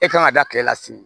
E kan ka da kile la si